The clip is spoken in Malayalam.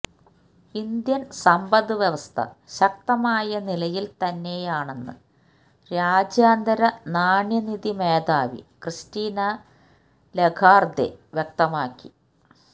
ഇന്ത്യന് സമ്പദ് വ്യവസ്ഥ ശക്തമായ നിലയില് തന്നെയാണെന്ന് രാജ്യാന്തര നാണ്യനിധി മേധാവി ക്രിസ്റ്റീന ലഗാര്ദെ വ്യക്തമാക്കി